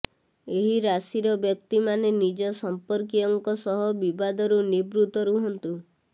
ଏହି ରାଶିର ବ୍ୟକ୍ତି ମାନେ ନିଜ ସମ୍ପର୍କୀୟ ଙ୍କ ସହ ବିବାଦରୁ ନିର୍ବୁତ ରୁହନ୍ତୁ